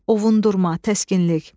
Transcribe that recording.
Ovundurma, təskinlik.